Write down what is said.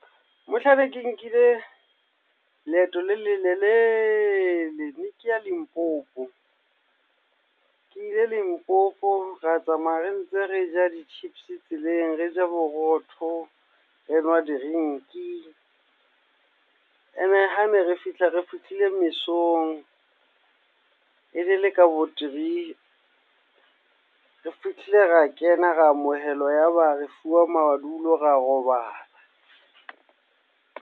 Mohlang ne ke nkile leeto le lelelele, ne ke ya Limpopo. Ke ile Limpopo, ra tsamaya re ntse re ja di-chips tseleng, re ja borotho, re nwa drink-i. Ene hane re fihla, re fihlile mesong. Ene le ka bo three. Re fihlile ra kena, ra amohelwa, ya ba re fuwa madulo ra robala.